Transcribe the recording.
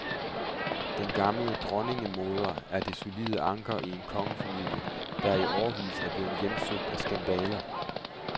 Den gamle dronningemoder er det solide anker i en kongefamilie, der i årevis er blevet hjemsøgt af skandaler.